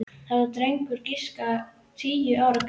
Það var drengur á að giska tíu ára gamall.